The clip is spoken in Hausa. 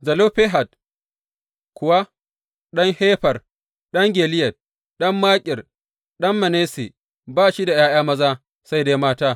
Zelofehad kuwa ɗan Hefer, ɗan Gileyad, ɗan Makir, ɗan Manasse ba shi da ’ya’ya maza, sai dai mata.